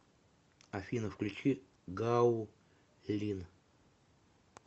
афина включи гаулин